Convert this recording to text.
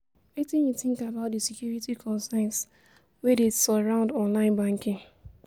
Wetin you think about di security concerns wey dey surround online banking?